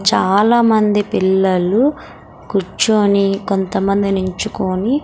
చాలామంది పిల్లలు కూర్చొని కొంతమంది నించుకొని --